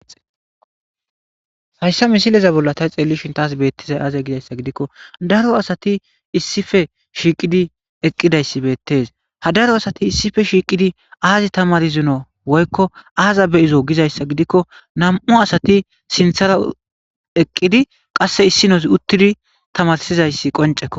hayssa misileza bolla tay xeellishin taas beettizay aaze gizayssa gidikko daro asati issife shiiqidi eqqidayssi beettes ha daro asati issife shiiqidi aazi tamar zuno woykko aaza be izo gizayssa gidikko nam7u asati sinthara eqqidi qasse issi nozi uttidi tamarsizayssi qoncekko